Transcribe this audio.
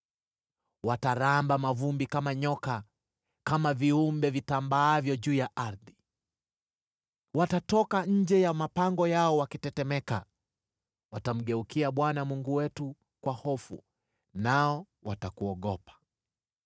Wataramba mavumbi kama nyoka, kama viumbe vitambaavyo juu ya ardhi. Watatoka nje ya mapango yao wakitetemeka; watamgeukia Bwana Mungu wetu kwa hofu nao watakuogopa.